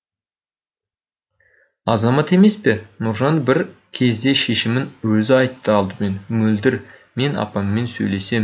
азамат емес пе нұржан бір кезде шешімін өзі айтты алдымен мөлдір мен апаммен сөйлесем